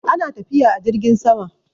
ana tafiya a jirgin sama